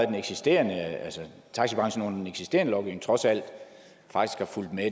den eksisterende lovgivning trods alt har fulgt med